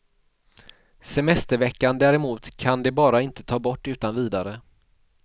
Semesterveckan däremot kan de bara inte ta bort utan vidare.